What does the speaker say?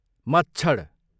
मच्छड